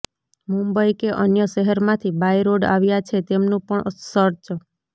મુંબઇ કે અન્ય શહેરમાંથી બાય રોડ આવ્યા છે તેમનું પણ સર્ચ